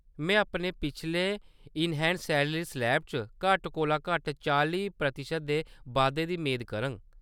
में अपने पिछले इन-हैंड सैलरी स्लैब च घट्ट कोला घट्ट चाली प्रतिशत दे बाद्धे दी मेद करङ।